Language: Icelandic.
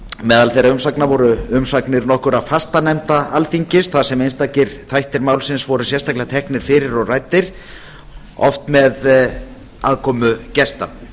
meðal þeirra umsagna voru umsagnir nokkurra fastanefnda alþingis þar sem einstakir þættir málsins voru sérstaklega teknir fyrir og ræddir oft með aðkomu gesta